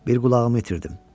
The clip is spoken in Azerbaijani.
Bir qulağımı itirdim.